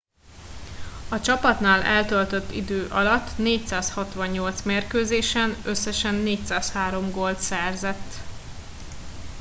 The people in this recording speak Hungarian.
a csapatnál eltöltött idő alatt 468 mérkőzésen összesen 403 gólt szerzett